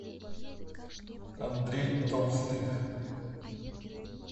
андрей толстых